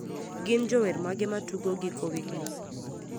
gin jower mage matugo giko wigni